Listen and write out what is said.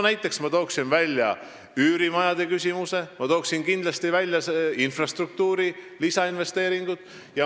Näiteks ma tooksin üürimajad ja infrastruktuuri lisainvesteeringud.